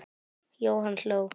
Jóhann hló.